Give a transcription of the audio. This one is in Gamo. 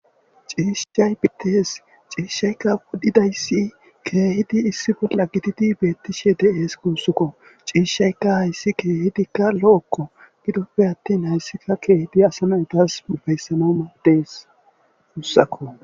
ciishshay pitees ciishshaykka wodhidayssi keehidi issifo lagitidi beettishe de7ees kuussukko ciishshayka hayssi keehidikka lo7okko gidoppe attin hayssika keehidi asana tas mubayssamamadees mussako